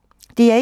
DR1